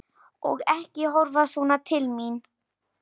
Og ekki horfa svona til mín!